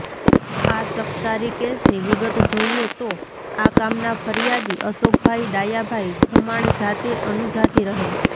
આ ચકચારી કેસની વિગત જોઇએ તો આ કામના ફરીયાદી અશોકભાઇ ડાયાભાઇ ખુમાણ જાતે અનુજાતિ રહે